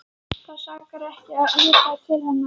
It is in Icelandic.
En það sakar ekki að líta til hennar.